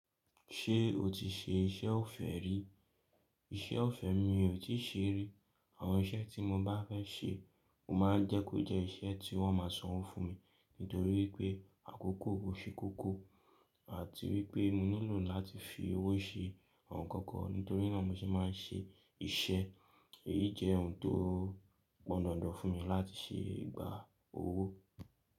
Ṣé o ti ṣe iṣẹ́ ọ̀fẹ́ rí? Iṣẹ́ ọ̀fẹ́ mi ò tí ì ṣe rí. Àwọn iṣẹ́ tí mo bá fẹ́ ṣe, mo máa ń jẹ́ kó jẹ́ iṣẹ́ tí wọ́n máa sanwó fún mi. Nítorí pé àkókò ó ṣẹ́ kókó, àti wípé mo ní lò láti fi owó ṣe àwọn ǹkan kan. Nítorí nà mo se máa ń ṣe iṣẹ́. Èyí jẹ́ ohun tó pọ̀ǹ dandan fún mi láti ṣe ìgbà owó.